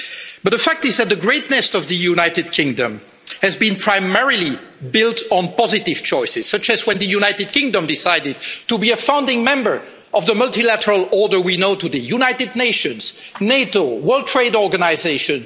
But the fact is that the greatness of the United Kingdom has been primarily built on positive choices, such as when the United Kingdom decided to be a founding member of the multilateral order we know today the United Nations, NATO, World Trade Organization